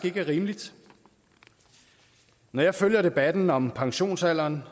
ikke er rimeligt når jeg følger debatten om pensionsalderen